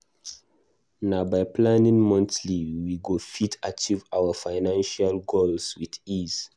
Na by planning monthly we go fit achieve our financial goals with ease.